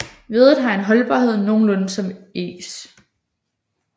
Veddet har en holdbarhed nogenlunde som egs